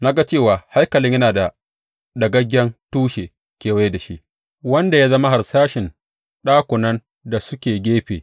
Na ga cewa haikalin yana da ɗagaggen tushe kewaye da shi, wanda ya zama harsashin ɗakunan da suke gefe.